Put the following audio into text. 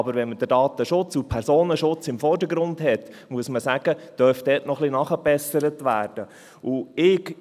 Aber wenn man den Datenschutz und den Personenschutz im Vordergrund hat, muss man sagen, dass dort etwas nachgebessert werden dürfte.